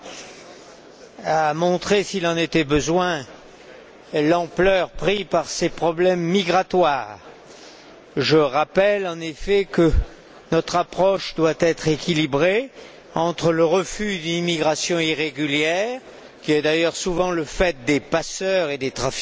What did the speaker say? Monsieur le Président, ce débat a montré, s'il en était besoin, l'ampleur prise par ces problèmes migratoires. Je rappelle, en effet, que notre approche doit être équilibrée entre le refus de l'immigration irrégulière, qui est d'ailleurs souvent le fait des passeurs et des trafiquants,